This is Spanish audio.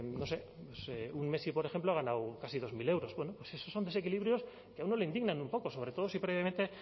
no sé un messi por ejemplo ha ganado casi dos mil euros bueno esos son desequilibrios que a uno le indignan un poco sobre todo si previamente